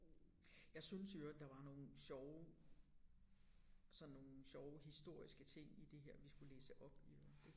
Jeg synes i øvrigt der var nogle sjove sådan nogle sjove historiske ting i det her vi skulle læse op i øvrigt